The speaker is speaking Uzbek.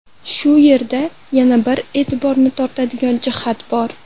Shu yerda yana bir e’tiborni tortadigan jihat bor.